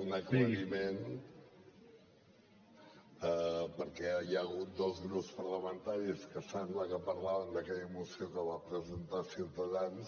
un aclariment perquè hi ha hagut dos grups parlamentaris que sembla que parlaven d’aquella moció que va presentar ciutadans